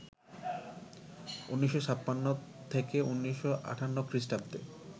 ১৯৫৬ থেকে ১৯৫৮ খ্রিষ্টাব্দে